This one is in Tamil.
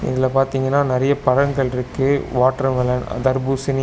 இதல பாத்தீங்கனா நறைய பழங்கள்ட்ருக்கு வாட்டர் மெலன் அ தர்பூசணி.